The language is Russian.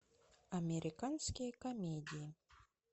американские комедии